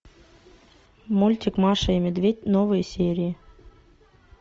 мультик маша и медведь новые серии